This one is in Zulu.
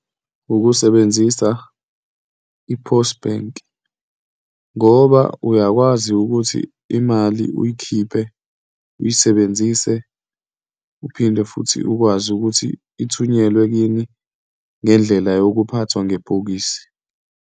Ukusebenzisa i-Post Bank ngoba uyakwazi ukuthi imali uyikhiphe, uyisebenzise, uphinde futhi ukwazi ukuthi ithunyelwe kini ngendlela yokuphathwa ngebhokisi.